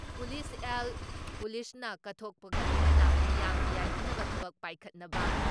police ꯑꯦꯜ, ꯄꯨꯂꯤꯁꯅ ꯀꯠꯊꯣꯛꯄꯒ ꯂꯣꯏꯅꯅ ꯃꯤꯌꯥꯝꯒꯤ ꯌꯥꯏꯐꯅꯕ ꯊꯕꯛ ꯄꯥꯏꯈꯠꯅꯕ